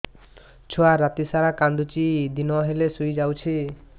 ଛୁଆ ରାତି ସାରା କାନ୍ଦୁଚି ଦିନ ହେଲେ ଶୁଇଯାଉଛି